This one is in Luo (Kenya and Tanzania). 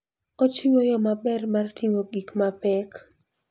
Ochiwo yo maber mar ting'o gik mapek.